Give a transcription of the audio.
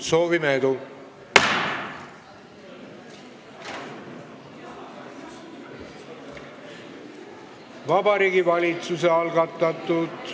Soovime edu!